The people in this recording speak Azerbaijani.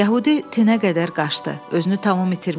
Yəhudi tinə qədər qaçdı, özünü tamam itirmişdi.